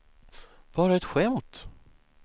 bara ett skämt